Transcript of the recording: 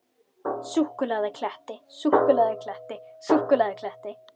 Súlukletti